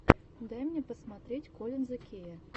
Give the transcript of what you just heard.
дай мне посмотреть коллинза кея